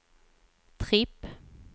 tripp